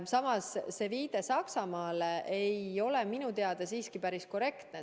Samas, viide Saksamaale ei ole minu teada siiski päris korrektne.